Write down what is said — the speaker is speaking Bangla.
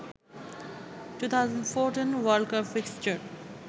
2014 world cup fixture